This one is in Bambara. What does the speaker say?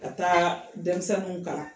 Ka taa denmisɛnninw kalan